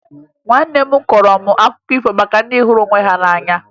Nwanne m kọọrọ m akụkọ maka ndị hụrụ onwe ha n'anya